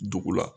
Dugu la